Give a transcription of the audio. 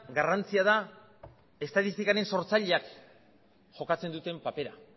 garrantzia da estatistikaren sortzaileak jokatzen duten papera